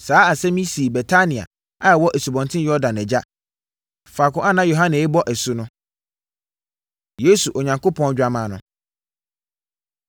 Saa asɛm yi sii Betania a ɛwɔ Asubɔnten Yordan agya, faako a na Yohane rebɔ asu no. Yesu, Onyankopɔn Dwammaa No